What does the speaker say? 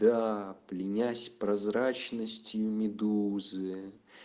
да пленясь прозрачностью медузы